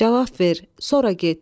Cavab ver, sonra get.